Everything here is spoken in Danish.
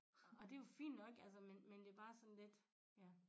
Og det jo fint nok altså men men det bare sådan lidt ja